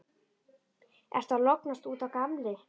Ertu að lognast út af, gamli?